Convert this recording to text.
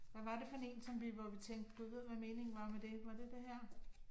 Hvad var det for en som vi, hvor vi tænkte gud vide hvad meningen var med det, var det den her?